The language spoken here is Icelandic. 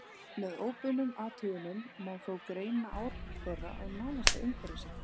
Með óbeinum athugunum má þó greina áhrif þeirra á nánasta umhverfi sitt.